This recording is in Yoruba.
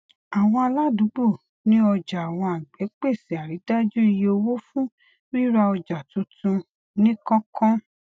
àwọn aládùúgbò ní ọjà àwọn agbẹ pèsè àrídájú iye owó fún rírà ọjà tuntun ní kánkán